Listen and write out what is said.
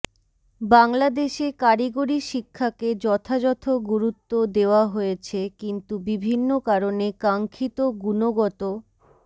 বাংলাদেশে কারিগরি শিক্ষাকে যথাযথ গুরুত্ব দেওয়া হয়েছে কিন্তু বিভিন্ন কারণে কাঙ্ক্ষিত গুণগত